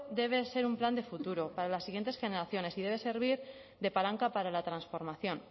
debe de ser un plan de futuro para las siguientes generaciones y debe servir de palanca para la transformación